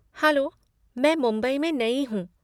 Hello, मैं मुंबई में नई हूँ।